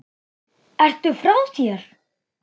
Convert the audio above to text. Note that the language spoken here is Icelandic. Ertu frá þér!